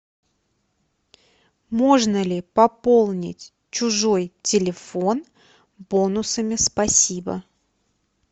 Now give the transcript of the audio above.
можно ли пополнить чужой телефон бонусами спасибо